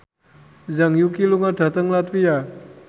Zhang Yuqi lunga dhateng latvia